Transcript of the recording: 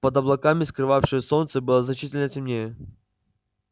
под облаками скрывавшие солнце было значительно темнее